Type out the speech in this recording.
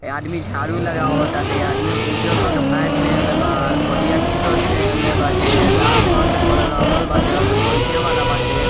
ये आदमी झाड़ू लगावत टाटे ये आदमी उज़र कलर के पैंट पेहेनेले बा करिया टी-शर्ट पेहेनेले बाटे लाल कलर से घर रंगल बाटे ओरे बइठे वाला बाटे।